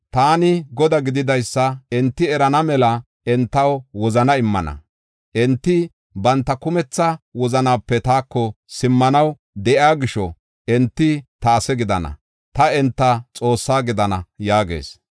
Taani Godaa gididaysa enti erana mela entaw wozana immana. Enti banta kumetha wozanape taako simmanaw de7iya gisho, enti ta ase gidana; ta enta Xoosse gidana” yaagees.